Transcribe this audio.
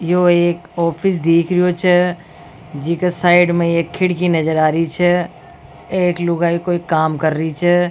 यो एक ऑफिस दीख रेहो छ जी के साइड के एक खिड़की नज़र आ री छ एक लुगाई कोई काम कर री छे।